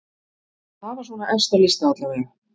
Það var svona efst á lista allavega.